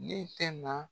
Ne tɛ na